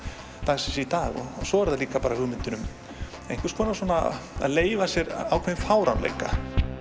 dagsins í dag og svo er það líka hugmyndin um einhvers konar svona að leyfa sér ákveðinn fáránleika